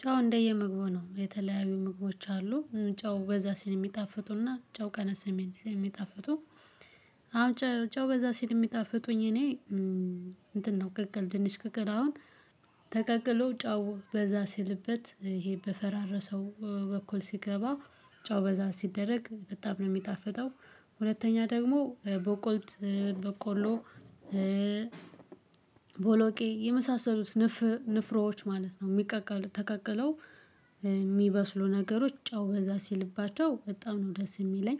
ጨው እንደየምግቡ ነው የተለያዩ ምግቦች አሉ። ጨው በዛ ሲል እሚጣፍጡና ጨው ቀነስ ሲል እሚጣፍጡ። አሁን ጨው በዛ ሲል እሚጣፍጡኝ እኔ። እንትን ነው ቅቅል ድንች ቅቅል አሁን ተቀቅሎ ጫው በዛ ሲልበት ይሄ በፈራረሰው በኩል ሲገባ ጨው በዛ ሲደረግ በጣም ነው የሚጣፈጠው። ሁለተኛ ደግሞ በቆልት በቆሎ ቦሎቄ የመሳሰሉት ንፍሮች ማለት ነው እሚቀቀሉ ተቀቅለው እሚበስሉ ነገሮች ጨው በዛ ሲልባቸው በጣም ነው ደስ የሚለኝ።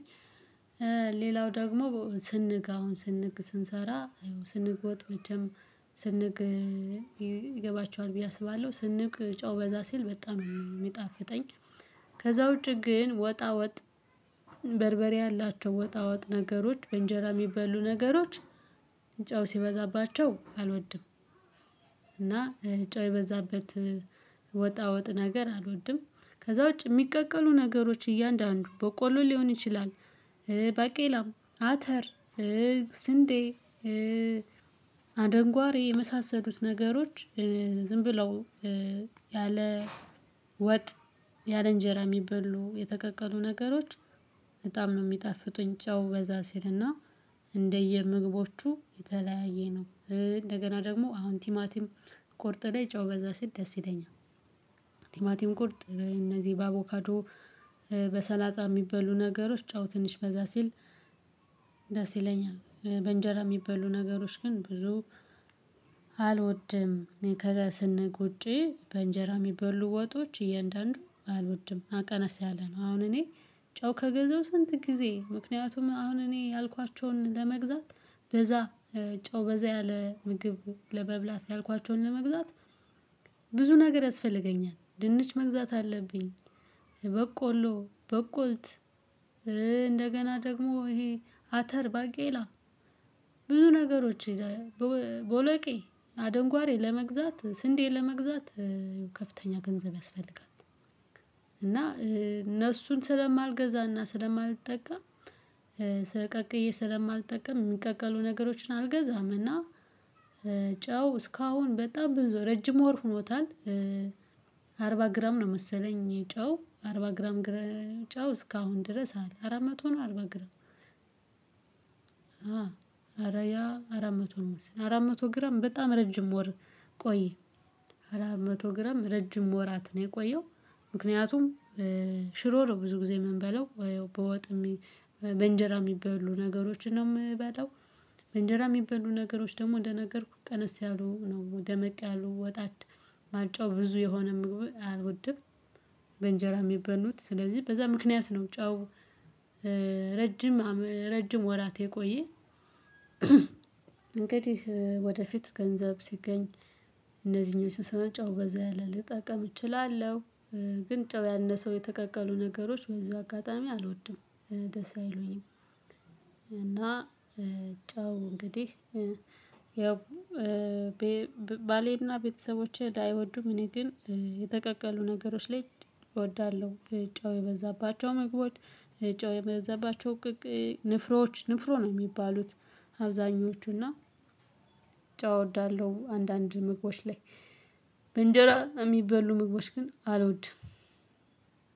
ሌላው ደግሞ ስንግ አሁን ስንግ ስንሰራ ያው ስንግ ወጥ መጀመሪያ ይገባቸዋል ብዬ አስባለሁ ስንግ ጨው በዛ ሲል በጣም እሚጣፍጠኝ። ከዛ ውጪ ግን ወጣ ወጥ በርበሬ ያላቸው ወጣ ወጥ ነገሮች በእንጀራ እሚበሉ ነገሮች ጨው ሲበዛባቸው አልወድም። እና ጨው የበዛበት ወጣወጥ ነገር አልወድም። ከዛ ውጪ የሚቀቀሉ ነገሮች እያንዳንዱ በቆሎ ሊሆን ይችላል። ባቄላ አተር ስንዴ አደንጓሬ የመሳሰሉት ነገሮች ዝም ብለው ያለ ወጥ ያለ እንጀራ እሚበሉ የተቀቀሉ ነገሮች በጣም ነው እሚጣፍጡኝ። ጫው በዛ ሲልና እንደየምግቦቹ የተለያየ ነው እንደገና ደግሞ አሁን ቲማቲም ቆርጥ ላይ ጨው በዛ ሲል ደስ ይለኛል። ቲማቲም ቁርጥ እነዚህ በአቮካዶ በሰላጣ እሚበሉ ነገሮች ጨው ትንሽ በዛ ሲል ደስ ይለኛል። በእንጀራ እሚበሉ ነገሮች ግን ብዙ እኔ ከለ ስንግ ውጪ በእንጀራ የሚበሉ ወጦች እያንዳንዱ አልወድም ቀነስ ያለ ነው። አሁን እኔ ጨው ከገዛው ስንት ጊዜ ምክንያቱም አሁን እኔ ያልኳቸውን ለመግዛት በዛ ጨው በዛ ያለ ምግብ ለመብላት ያልኳቸውን ለመግዛት ብዙ ነገር ያስፈልገኛል ድንች መግዛት አለብኝ። በቆሎ በቆልት እንደገና ደግሞ ይሄ አተር ባቄላ ብዙ ነገሮች ቦለቂ አደንጓሬ ለመግዛት ስንዴን ለመግዛት ከፍተኛ ገንዘብ ያስፈልጋል። እና እነሱን ስለማልገዛና ስለማልጠቀም ቀቅዬ ስለማልጠቀም እሚቀቀሉ ነገሮችን አልገዛም እና። ጨው እስካሁን በጣም ብዙ ረጅም ወር ሆኖታል። አርባ ግራም ነው መሰለኝ ጨው አርባ ግራም ጨው እስካሁን ድረስ አለ አራት መቶ ነው አርባ ግራም። አረ ያ አራት መቶ ነው መሰል አራት መቶ ግራም በጣም ረጅም ወር ቆየ አራት መቶ ግራም ረጅም ወራት ነው የቆየው። ምክንያቱም ሽሮ ነው ብዙ ጊዜ እምንበለው ወይ በወጥ በእንጀራ እሚበሉ ነገሮችን ነው እምበላው በእንጀራ እሚበሉ ነገሮች ደግሞ እንደነገርኩህ ቀነስ ያሉ ነው ደመቅ ያሉ እና ጨው ብዙ የሆነ ምግብ አልወድም። በእንጀራ እሚበሉት ስለዚህ በዛ ምክንያት ነው ጨው ረጅም ረጅም ወራት የቆየ። እንግዲህ ወደፊት ገንዘብ ሲገኝ እነዚህኞቹ ጨው በዛ ያለ ልጠቀም እችላለሁ። ግን ጨው ያነሰው የተቀቀሉ ነገሮች በዚሁ አጋጣሚ አልወድም ደስ አይሉኝም። እና ጨው እንግዲህ ያው ባሌና ቤተሰቦቼ ባይወዱም እኔ ግን የተቀቀሉ ነገሮች ላይ እወዳለሁ። ጨው የበዛባቸው መግቦች ጨው የበዛባቸው ንፍሮች ንፍሮ ነው እሚባሉት። አብዛኞቹ እና ጨው እወዳለሁ አንዳንድ ምግቦች ላይ በእንጀራ እሚበሉ ምግቦች ግን አልወድም።